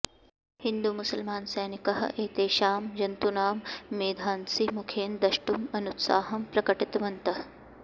हिन्दुमुसल्मानसैनिकाः एतेषां जन्तूनां मेधांसि मुखेन दष्टुम् अनुत्साहं प्रकटितवन्तः